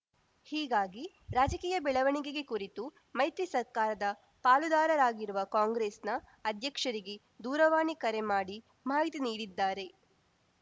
ಹೀಗಾಗಿ ರಾಜಕೀಯ ಬೆಳವಣಿಗೆಗೆ ಕುರಿತು ಮೈತ್ರಿ ಸರ್ಕಾರದ ಪಾಲುದಾರರಾಗಿರುವ ಕಾಂಗ್ರೆಸ್‌ನ ಅಧ್ಯಕ್ಷರಿಗೆ ದೂರವಾಣಿ ಕರೆ ಮಾಡಿ ಮಾಹಿತಿ ನೀಡಿದ್ದಾರೆ